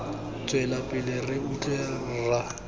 tswela pele re utlwe rra